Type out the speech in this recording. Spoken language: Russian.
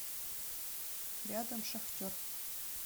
рядом шахтер